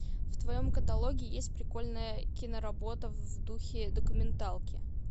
в твоем каталоге есть прикольная киноработа в духе документалки